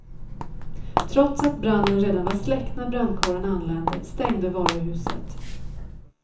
Trots att branden redan var släckt när brandkåren anlände, stängde varuhuset.